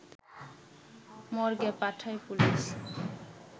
মর্গে পাঠায় পুলিশ